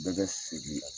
Bɛɛ bɛ segin